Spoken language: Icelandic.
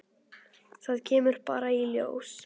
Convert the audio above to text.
Það kemur bara í ljós.